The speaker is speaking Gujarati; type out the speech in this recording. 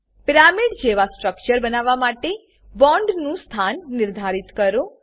પિરામિડ જેવા સ્ટ્રક્ચર બનાવવા માટે બોન્ડ નું સ્થાન નિર્ધારિત કરો